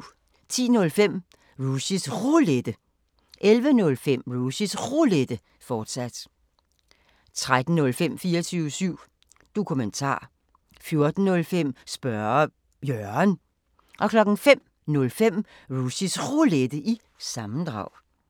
10:05: Rushys Roulette 11:05: Rushys Roulette, fortsat 13:05: 24syv Dokumentar 14:05: Spørge Jørgen 05:05: Rushys Roulette – sammendrag